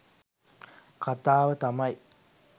කතාව තමයි